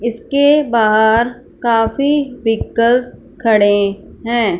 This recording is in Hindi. इसके बाहर काफी व्हीकल्स खड़े हैं।